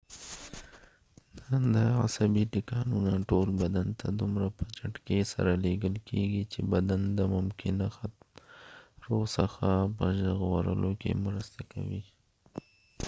دا عصبی ټکانونه ټول بدن ته دومره په چټکې سره لیږل کېږی چې بدن د ممکنه خطرو څخه په ژغورلو کې مرسته کوي